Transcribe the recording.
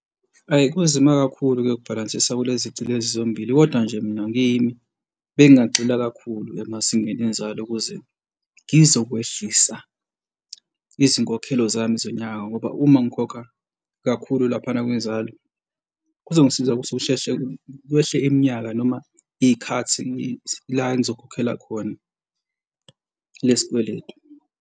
Hhayi, kunzima kakhulu-ke ukubhalansisa kulezici lezi zombili, kodwa nje mina ngiyimi bengagxila kakhulu emazingeni enzalo, ukuze ngizokwehlisa izinkokhelo zami zonyaka ngoba uma ngikhokha kakhulu laphana kwinzalo kuzongisiza ukuthi ngisheshe kwehle iminyaka noma iy'khathini la engizokhokhela khona lesi kweletu.